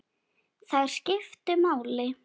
Þær skiptu máli.